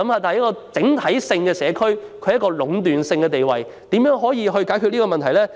單一街市在整個社區中具壟斷地位，可以如何解決這問題呢？